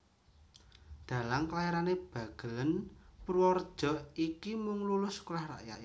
Dhalang kelairan Bagelèn Purwareja iki mung lulus Sekolah Rakyat